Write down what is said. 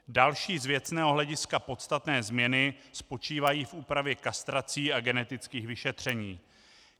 Další z věcného hlediska podstatné změny spočívají v úpravě kastrací a genetických vyšetření.